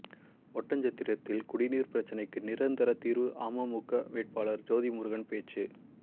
ஒட்டன்சத்திரத்தில் குடிநீர் பிரச்னைக்கு நிரந்தர தீர்வு அமமுக வேட்பாளர் ஜோதிமுருகன் பேச்சு